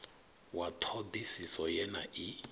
wa ṱhoḓisiso ye na i